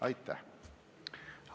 Aitäh!